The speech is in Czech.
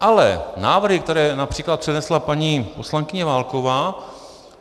Ale návrhy, které například přinesla paní poslankyně Válková...